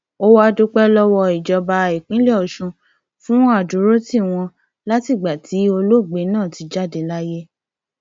ó wàá dúpẹ lọwọ ìjọba ìpínlẹ ọsùn fún àdúrótì wọn látìgbà tí olóògbé náà ti jáde láyé